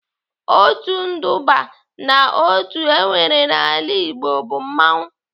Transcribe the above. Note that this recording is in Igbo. Otu nduba n'otu enwere n'ala Igbo bụ mmanwụ.